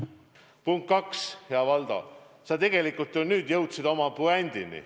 Punkt kaks: hea Valdo, sa tegelikult ju nüüd jõudsid puändini.